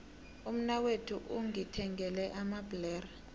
umnakwethu ungithengele amabhlere